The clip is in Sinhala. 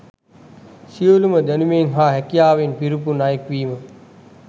සියලුම දැනුමෙන් හා හැකියාවෙන් පිරිපුන් අයකු වීම